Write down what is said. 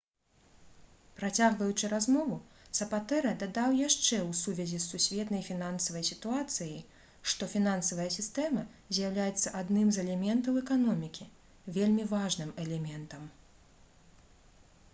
працягваючы размову сапатэра дадаў яшчэ ў сувязі з сусветнай фінансавай сітуацыяй што «фінансавая сістэма з'яўляецца адным з элементаў эканомікі вельмі важным элементам»